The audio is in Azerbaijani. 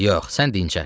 Yox, sən dincəl.